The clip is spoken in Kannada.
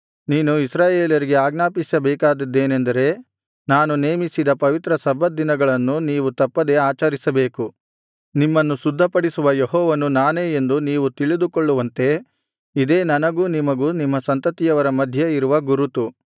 ನೀನು ಇಸ್ರಾಯೇಲರಿಗೆ ಆಜ್ಞಾಪಿಸಬೇಕಾದದ್ದೇನೆಂದರೆ ನಾನು ನೇಮಿಸಿದ ಪವಿತ್ರ ಸಬ್ಬತ್ ದಿನಗಳನ್ನು ನೀವು ತಪ್ಪದೇ ಆಚರಿಸಬೇಕು ನಿಮ್ಮನ್ನು ಶುದ್ಧಿಪಡಿಸುವ ಯೆಹೋವನು ನಾನೇ ಎಂದು ನೀವು ತಿಳಿದುಕೊಳ್ಳುವಂತೆ ಇದೇ ನನಗೂ ನಿಮಗೂ ನಿಮ್ಮ ಸಂತತಿಯವರ ಮಧ್ಯ ಇರುವ ಗುರುತು